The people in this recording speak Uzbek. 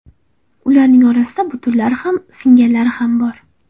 Ularning orasida butunlari ham, singanlari ham bor.